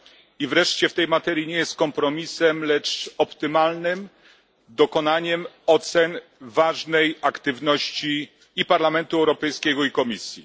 I wreszcie w tej materii nie jest kompromisem, lecz optymalnym dokonaniem ocen ważnej aktywności i Parlamentu Europejskiego, i Komisji.